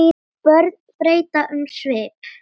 Börnin breyta um svip.